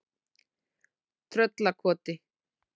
Tröllakoti